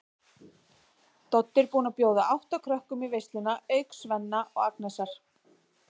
Doddi er búinn að bjóða átta krökkum í veisluna auk Svenna og Agnesar.